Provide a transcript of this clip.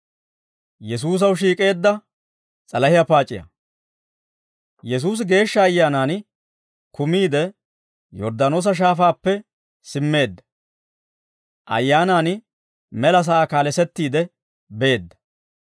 Yesuusi Geeshsha Ayyaanaan kumiide Yorddaanoosa Shaafaappe simmeedda; Ayyaanaan mela sa'aa kaalesettiide beedda.